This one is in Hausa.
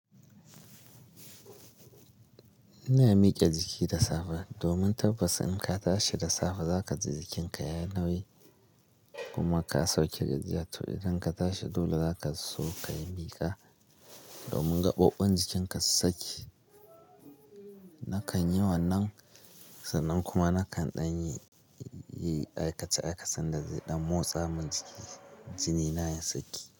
Ina miƙe jiki da safe domin tabbas in ka tashi da safe za ka ji jikinka ya nawi kuma ka sauke gizi. To idan ka tashi dole za ka sauka ka yi miƙa domin gaɓoɓɓan jikinka su sake. Nakan yi wannan sannan kuma nakan ɗan yi aikace-aikacen da zai ɗan motsa min jiki jini na ya saki.